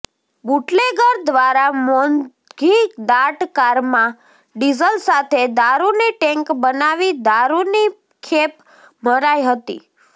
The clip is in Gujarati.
બુટલેગર દ્વારા મોંઘીદાટ કારમાં ડીઝલ સાથે દારૂની ટેન્ક બનાવી દારૂની ખેપ મરાય હતી